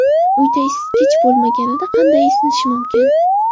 Uyda isitgich bo‘lmaganida qanday isinish mumkin?.